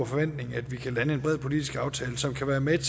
forventning at vi kan lande en bred politisk aftale som kan være med